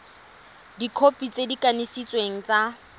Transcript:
dikhopi tse di kanisitsweng tsa